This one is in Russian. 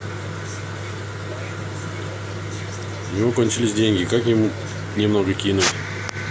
у него кончились деньги как ему немного кинуть